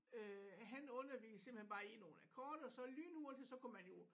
Øh han underviste simpelthen bare i nogle akkorder så lynhurtigt så kunne man jo